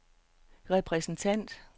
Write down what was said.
repræsentant